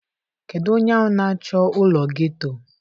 Kedu onye ahụ na-achọ ụlọ geto?